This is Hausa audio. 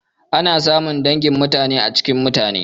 Ana samun dangi mutane a cikin mutane.